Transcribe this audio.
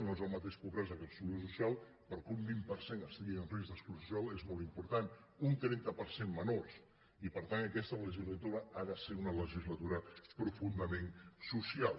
no és el mateix po·bresa que exclusió social però que un vint per cent esti·gui en risc d’exclusió social és molt important un trenta per cent menors i per tant aquesta legislatura ha de ser una legislatura profundament social